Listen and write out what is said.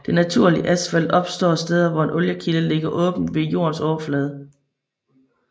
Det naturligt asfalt opstår steder hvor en oliekilde ligger åben ved jordens overflade